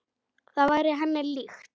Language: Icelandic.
Það væri henni líkt.